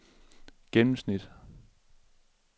gennemsnit